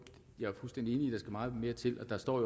meget mere til